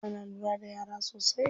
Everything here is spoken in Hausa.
Ana lura da yara sosai.